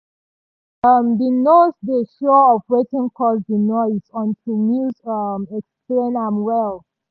we um bin nor dey sure of wetin cause di noise until news um explain am well.